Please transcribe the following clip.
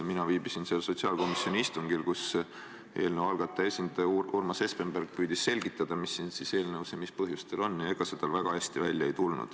Mina viibisin sellel sotsiaalkomisjoni istungil, kus eelnõu algataja esindaja Urmas Espenberg püüdis selgitada, mis selles eelnõus ja mis põhjustel on, ja ega see tal väga hästi välja ei tulnud.